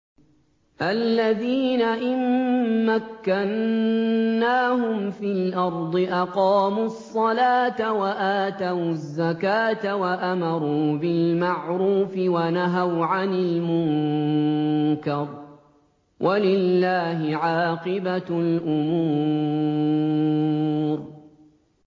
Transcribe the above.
الَّذِينَ إِن مَّكَّنَّاهُمْ فِي الْأَرْضِ أَقَامُوا الصَّلَاةَ وَآتَوُا الزَّكَاةَ وَأَمَرُوا بِالْمَعْرُوفِ وَنَهَوْا عَنِ الْمُنكَرِ ۗ وَلِلَّهِ عَاقِبَةُ الْأُمُورِ